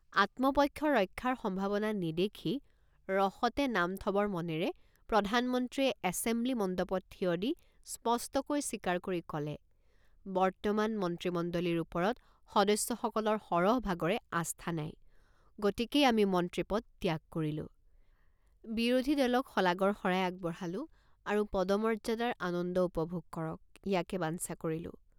আত্মপক্ষ ৰক্ষাৰ সম্ভাৱনা নেদেখি ৰসতে নাম থবৰ মনেৰে প্ৰধানমন্ত্ৰীয়ে এছেমব্লি মণ্ডপত থিয় দি স্পষ্টকৈ স্বীকাৰ কৰি কলে বৰ্তমান মন্ত্ৰীমণ্ডলীৰ ওপৰত সদস্যসকলৰ সৰহভাগৰে আস্থা নাই গতিকেই আমি মন্ত্ৰীপদ ত্যাগ কৰিলো বিৰোধী দলক শলাগৰ শৰাই আগবঢ়ালো আৰু পদমৰ্যাদাৰ আনন্দ উপভোগ কৰক ইয়াকে বাঞ্ছা কৰিলোঁ।